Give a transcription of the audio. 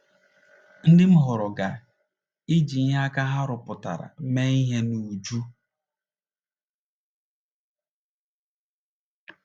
Ndị m họọrọ ga - eji ihe aka ha rụpụtara mee ihe n’uju. ”